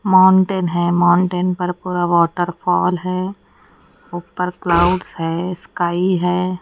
Mountain है mountain पर पूरा वॉटरफॉल है ऊपर क्लाउड है स्काई है।